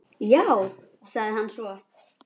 Já, sagði hann svo.